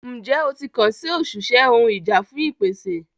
Njẹ o ti kan si oṣiṣẹ ohun ìjà fun ìpèsè?